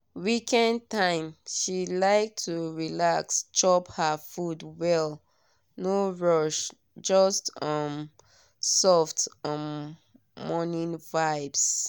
weekend time she like to relax chop her food well no rush just um soft um morning vibes.